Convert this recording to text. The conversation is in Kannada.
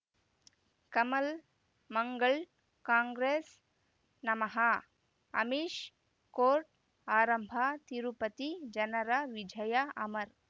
ಕಮಲ್ ಮಂಗಳ್ ಕಾಂಗ್ರೆಸ್ ನಮಃ ಅಮಿಷ್ ಕೋರ್ಟ್ ಆರಂಭ ತಿರುಪತಿ ಜನರ ವಿಜಯ ಅಮರ್